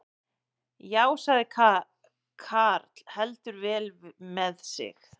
Já, sagði karl heldur vel með sig.